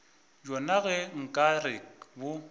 bjona ge nka re bo